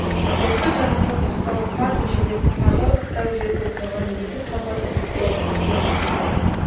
ертіс жағасына тақау тар көшеде тығырықтау жерде тұрған екі қабат тасболат ақ үйге келеді